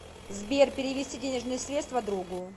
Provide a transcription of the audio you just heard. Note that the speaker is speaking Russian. сбер перевести денежные средства другу